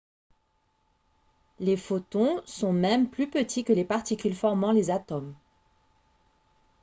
les photons sont même plus petits que les particules formant les atomes !